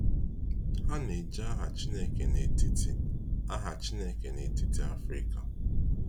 Ha na-eji aha Chineke n’etiti aha Chineke n’etiti Afrịka.